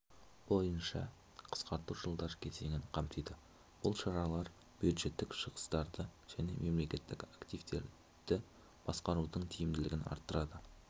бойынша қысқарту жылдар кезеңін қамтиды бұл шаралар бюджеттік шығыстарды және мемлекеттік активтерді басқарудың тиімділігін арттырады